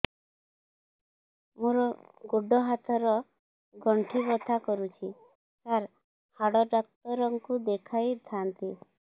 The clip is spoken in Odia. ମୋର ଗୋଡ ହାତ ର ଗଣ୍ଠି ବଥା କରୁଛି ସାର ହାଡ଼ ଡାକ୍ତର ଙ୍କୁ ଦେଖାଇ ଥାନ୍ତି